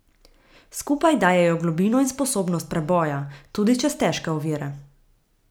Skupaj dajejo globino in sposobnost preboja, tudi čez težke ovire.